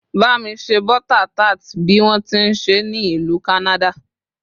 ba mi se butter tart bi wọn ti nse ni ìlú canada